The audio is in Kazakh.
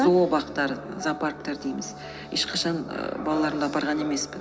зообақтар зоопарктар дейміз ешқашан балаларымды апарған емеспін